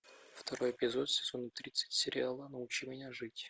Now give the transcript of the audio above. второй эпизод сезона тридцать сериала научи меня жить